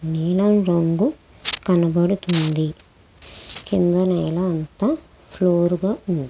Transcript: నీలం రంగు కనబడుతుంది. కిందన ఏమో అంతా ఫ్లోర్ గా ఉంది.